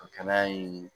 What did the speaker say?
A kɛnɛya in